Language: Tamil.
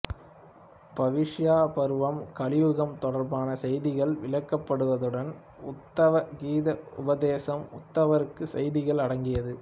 பவிஷ்ய பருவம் கலியுகம் தொடர்பான செய்திகள் விளக்கப்படுதுடன் உத்தவ கீதை உபதேசம் உத்தவருக்கு செய்திகள் அடங்கியது